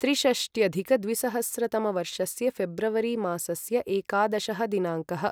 त्रिषष्ट्यधिक द्विसहस्रतमवर्षस्य ऴेब्रवरि मासस्य एकादशः दिनाङ्कः